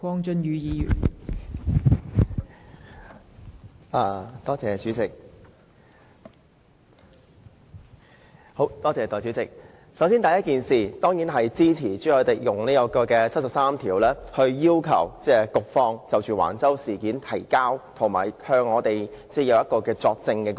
代理主席，首先，我當然支持朱凱廸議員根據《基本法》第七十三條，要求局方就橫洲事件提交文件及作證。